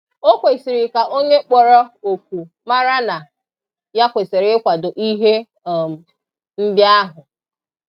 o kwesịrị ka onye kpọrọ oku mara na ya kwesiri ikwado ihe um ndị ahụ.